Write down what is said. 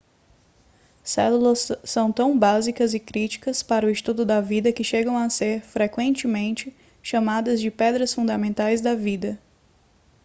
células são tão básicas e críticas para o estudo da vida que chegam a ser frequentemente chamadas de pedras fundamentais da vida